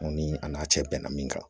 Aw ni a n'a cɛ bɛnna min kan